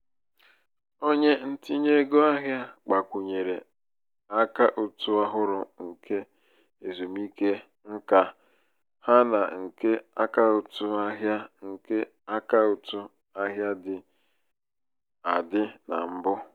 onye ntinye ego ahịa gbakwunyere akaụtụ ọhụrụ nke ezumike nká ha na nke akaụtụ ahịa nke akaụtụ ahịa dị adị na mbụ.